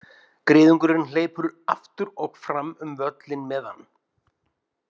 Griðungurinn hleypur aftur og fram um völlinn með hann.